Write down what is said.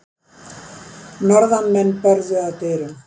Norðanmenn börðu að dyrum.